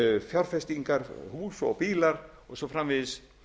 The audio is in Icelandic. fjárfestingar hús og bílar og svo framvegis